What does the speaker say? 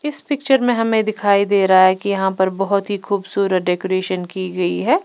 इस पिक्चर में हमें दिखाई दे रहा है कि यहां पर बहुत ही खूबसूरत डेकोरेशन की गई है।